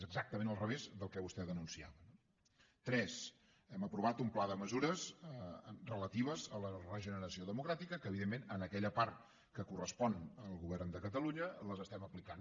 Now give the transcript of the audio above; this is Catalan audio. és exactament al revés del que vostè ha denunciat no tres hem aprovat un pla de mesures relatives a la regeneració democràtica que evidentment en aquella part que correspon al govern de catalunya les estem aplicant